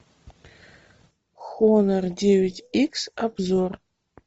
хонор девять икс обзор